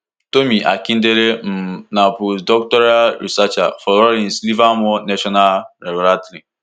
tomi akindele um na postdoctoral researcher for lawrence livermore national laboratory